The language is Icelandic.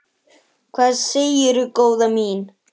Hvað segirðu góða mín?